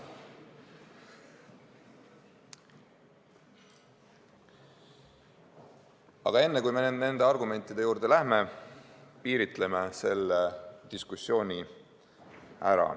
Aga enne kui me nende argumentide juurde läheme, piiritleme diskussiooni ära.